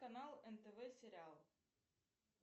канал нтв сериал